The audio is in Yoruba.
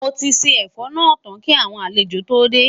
Moti ṣé ẹfọ nà tán kí àwọn àlejò tó dé